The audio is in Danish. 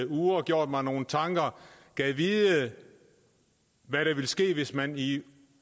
uger gjort mig nogle tanker gad vide hvad der ville ske hvis man i